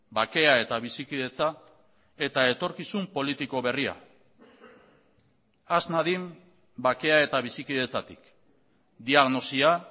bakea eta bizikidetza eta etorkizun politiko berria has nadin bakea eta bizikidetzatik diagnosia